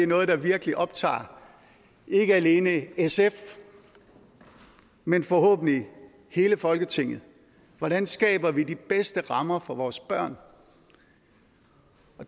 noget der virkelig optager ikke alene sf men forhåbentlig hele folketinget hvordan skaber vi de bedste rammer for vores børn